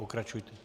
Pokračujte.